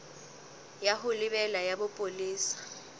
ya ho lebela ya bopolesa